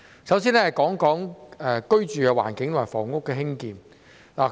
首先，我想說說居住環境和房屋的興建。